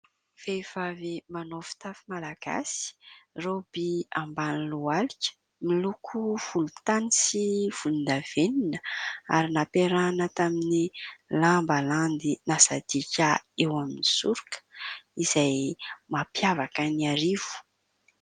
Vehivavy manao fitafy malagasya, raoby ambany lohalika miloko volontany sy volondavenona ary nampiarahana tamin'ny lamba landy nasadiaka eo amin'ny soroka izay mampiavaka an'Iarivo.